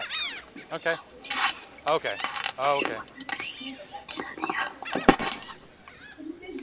Látið þið nú ekki svona, greyin mín sagði hann.